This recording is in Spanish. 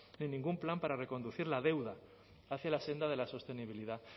ni ningún plan para reconducir la deuda hacia la senda de la sostenibilidad